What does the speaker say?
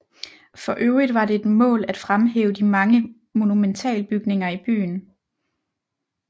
For øvrigt var det et mål at fremhæve de mange monumentalbygninger i byen